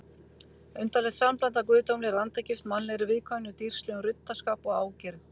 Undarlegt sambland af guðdómlegri andagift, mannlegri viðkvæmni og dýrslegum ruddaskap og ágirnd.